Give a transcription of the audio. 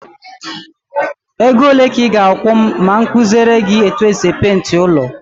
Ego ole ka ị ga-akwụ m ma m kuziele gị etu e si peenti ụlọ?